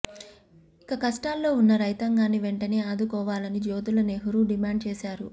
ఇక కష్టాల్లో ఉన్న రైతాంగాన్ని వెంటనే ఆదుకోవాలని జ్యోతుల నెహ్రూ డిమాండ్ చేసారు